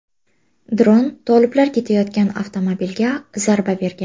Dron toliblar ketayotgan avtomobilga zarba bergan.